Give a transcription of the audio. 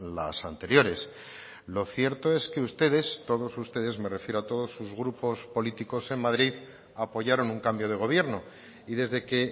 las anteriores lo cierto es que ustedes todos ustedes me refiero a todos sus grupos políticos en madrid apoyaron un cambio de gobierno y desde que